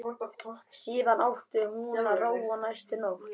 Síðan átti að róa næstu nótt.